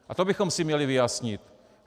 A to bychom si měli vyjasnit.